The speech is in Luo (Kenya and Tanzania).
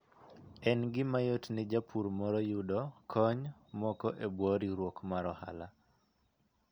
En gima yot ne japur moro yudo kony moko e bwo riwruok mar ohala.